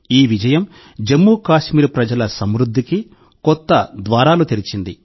ఈ విజయం జమ్మూ కాశ్మీర్ ప్రజల సమృద్ధికి కొత్త ద్వారాలు తెరిచింది